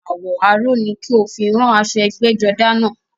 Àwọ̀ aró ni kí o fi rán aṣọ ẹgbẹ́jọdá náà